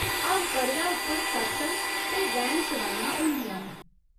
हर पर्वै उप्पर सत्संग ते रैन सवाइयां होंदियां न।